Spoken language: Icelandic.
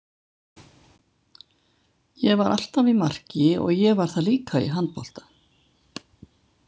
Ég var alltaf í marki og ég var það líka í handbolta.